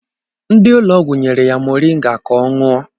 Ndị ụlọgwụ nyere ya moringa ka ọ ṅụọ